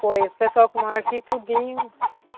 Foi, esse pessoal que mora aqui, tudinho...